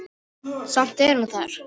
Samt er hún þar.